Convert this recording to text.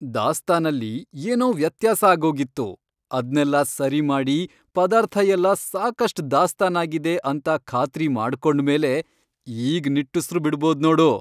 ದಾಸ್ತಾನಲ್ಲಿ ಏನೋ ವ್ಯತ್ಯಾಸ ಆಗೋಗಿತ್ತು, ಅದ್ನೆಲ್ಲ ಸರಿ ಮಾಡಿ ಪದಾರ್ಥಯೆಲ್ಲ ಸಾಕಷ್ಟ್ ದಾಸ್ತಾನಾಗಿದೆ ಅಂತ ಖಾತ್ರಿ ಮಾಡ್ಕೊಂಡ್ಮೇಲೆ ಈಗ್ ನಿಟ್ಟುಸ್ರು ಬಿಡ್ಬೋದ್ ನೋಡು.